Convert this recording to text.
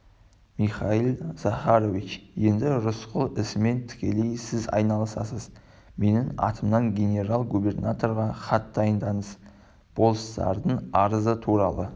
михаил захарович енді рысқұл ісімен тікелей сіз айналысасыз менің атымнан генерал-губернаторға хат дайындаңыз болыстардың арызы туралы